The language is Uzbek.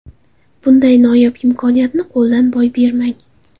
Bunday noyob imkoniyatni qo‘ldan boy bermang!